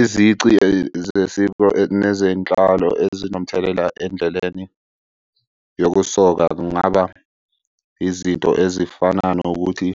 Izici nezenhlalo ezinomthelela endleleni yokusoka kungaba izinto ezifana nokuthi